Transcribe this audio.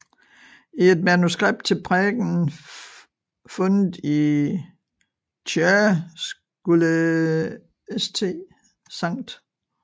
I et manuskript til prædiken fundet i Chur skulle St